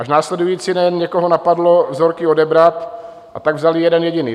Až následující den někoho napadlo vzorky odebrat, a tak vzali jeden jediný.